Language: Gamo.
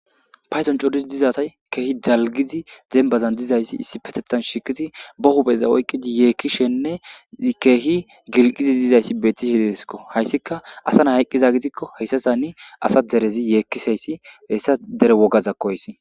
paydon coduzi dizasay keehi dalgizi zembazan dizayssi issi petethan shikizi bohubeza oyqqidi yeekkishenne keehi gilqizi dizayssi bettishe deesko hayssika asa na hayqqiza gidikko heyssasani asa derezi yeekkisayssi hessa dere wogazakko hayssi